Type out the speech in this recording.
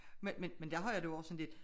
Men men der har jeg det jo også sådan lidt